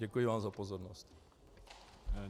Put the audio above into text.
Děkuji vám za pozornost.